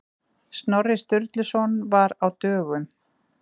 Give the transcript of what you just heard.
Snorri Sturluson var á dögum.